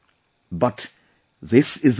But, this is the truth